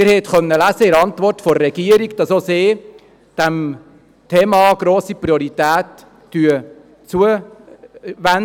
Sie konnten in der Antwort der Regierung lesen, dass auch sie diesem Thema eine grosse Priorität beimisst.